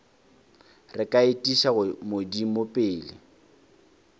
re ka etiša modimo pele